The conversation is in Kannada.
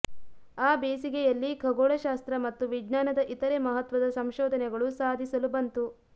ಆ ಬೇಸಿಗೆಯಲ್ಲಿ ಖಗೋಳಶಾಸ್ತ್ರ ಮತ್ತು ವಿಜ್ಞಾನದ ಇತರೆ ಮಹತ್ವದ ಸಂಶೋಧನೆಗಳು ಸಾಧಿಸಲು ಬಂತು